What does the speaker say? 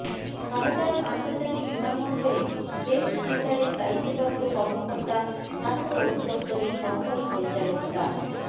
শাহজালাল আন্তর্জাতিক বিমানবন্দরের হেলথ সেন্টারের দায়িত্বপ্রাপ্ত কর্মকর্তা স্বাস্থ্য অধিদপ্তরের সহকারী পরিচালক ডা